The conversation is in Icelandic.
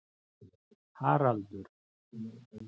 Haraldur